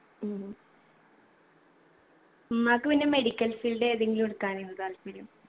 ഉം ഉമ്മാക്ക് പിന്നെ medical field ഏതെങ്കിലും എടുക്കാനേനു താല്പര്യം